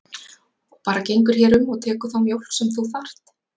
Og bara gengur hér um og tekur þá mjólk sem þú þarft.